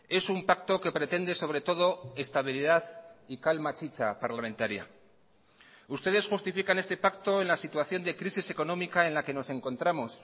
es un pacto que pretende sobre todo estabilidad y calma chicha parlamentaria ustedes justifican este pacto en la situación de crisis económica en la que nos encontramos